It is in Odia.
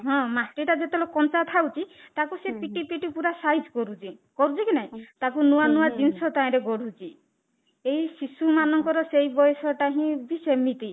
ହଁ, ମାଟି ଟା ଯେତେ ବେଳେ କଞ୍ଚା ଥାଉ ଛି ତାକୁ ସେ ପିଟି ପିଟି ପୁରା size କରୁଛି କରୁଛି କି ନାଇଁ ତାକୁ ନୂଆ ନୂଆ ଜିନିଷ ତାହିଁ ରେ ଗଢୁଛି ଏଇ ଶିଶୁ ମାନଙ୍କର ସେଇ ବୟସ ଟା ହିଁ ବି ସେମିତି